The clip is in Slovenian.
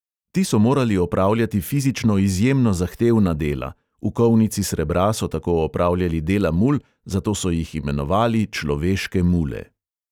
Ti so morali opravljati fizično izjemno zahtevna dela: v kovnici srebra so tako opravljali dela mul, zato so jih imenovali človeške mule.